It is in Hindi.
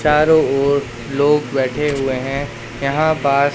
चारो ओर लोग बैठे हुए हैं यहां पास--